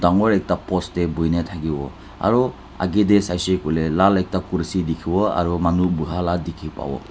dagur ekta post te boihe na thaki bo aru age te sai le koile lal ekta kursi dekhi bo aru manu boha laga dekhi pabo.